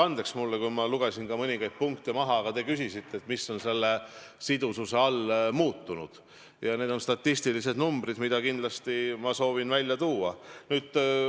Andke mulle andeks, et ma lugesin mõningaid punkte maha, aga te küsisite, et mis on selle sidususe mõttes muutunud, ja need on statistilised numbrid, mida ma kindlasti soovisin välja tuua.